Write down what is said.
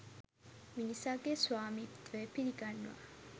මිනිසාගේ ස්වාමිත්වය පිළිගන්නා